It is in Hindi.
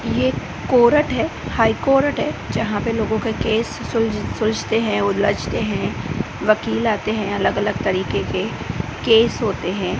ये कोरट है हाई कोर्ट है जहां पे लोगों का केस सुल सुलझते हैं उलझते हैं वकील आते हैं अलग अलग तरीके के केस होते हैं।